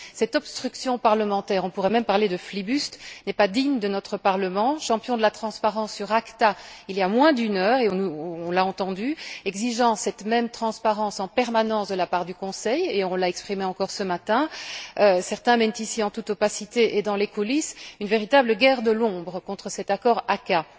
Cette obstruction parlementaire on pourrait même parler de flibuste n'est pas digne de notre Parlement, champion de la transparence sur l'ACTA il y a moins d'une heure et on l'a entendu exigeant cette même transparence en permanence de la part du Conseil, comme cela a encore été exprimé ce matin. Certains mènent ici, en toute opacité et dans les coulisses, une véritable guerre de l'ombre contre l'accord ACAA.